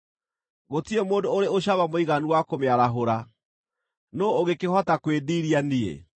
Gũtirĩ mũndũ ũrĩ ũcamba mũiganu wa kũmĩarahũra. Nũũ ũngĩkĩhota kwĩĩndiiria niĩ?